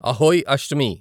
Ahoi Ashtami